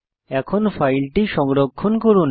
এখন ফাইলটি সংরক্ষণ করুন